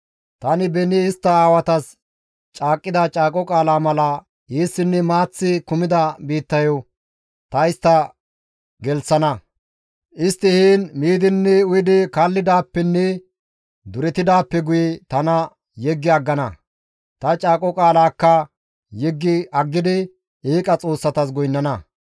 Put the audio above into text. Tani beni istta aawatas caaqqida caaqo qaalaa mala eessinne maaththi kumida biittayo ta istta gelththana; istti heen miidinne uyidi kallidaappenne durettidaappe guye tana yeggi aggana; ta caaqo qaalaakka yeggi aggidi eeqa xoossatas goynnana.